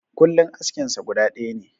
Kullin askin sa guda ɗaya ne.